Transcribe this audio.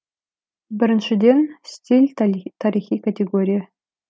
біріншіден стиль тарихи категория